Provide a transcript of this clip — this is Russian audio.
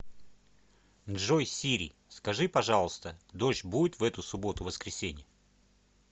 джой сири скажи пожалуйста дождь будет в эту субботу воскресенье